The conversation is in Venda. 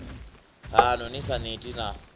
haṋu ni sa neti na